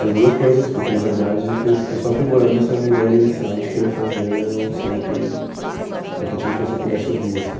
As duas coisas, porque na verdade foi foi só aprimorando essa ideia inicial de querer fazer um som que qualquer tipo de pessoa pudesse ouvir, assim.